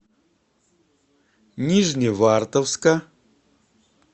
нижневартовска